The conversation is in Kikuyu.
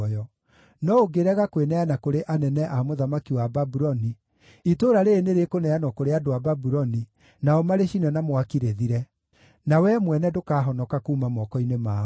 No ũngĩrega kwĩneana kũrĩ anene a mũthamaki wa Babuloni, itũũra rĩĩrĩ nĩrĩkũneanwo kũrĩ andũ a Babuloni, nao marĩcine na mwaki rĩthire; na wee mwene ndũkahonoka kuuma moko-inĩ mao.’ ”